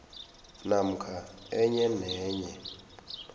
namkha enye nenye